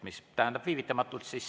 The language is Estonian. Mis tähendab viivitamatult?